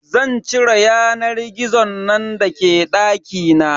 Zan cire yanar gizon nan da ke dakina.